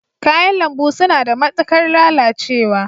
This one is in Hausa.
Kayan lambu suna da matuƙar lalacewa